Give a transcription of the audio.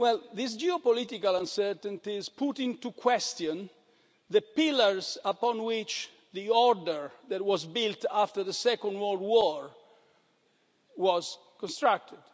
last. These geopolitical uncertainties put into question the pillars upon which the order, that was built after the Second World War, was constructed.